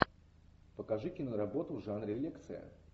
покажи киноработу в жанре лекция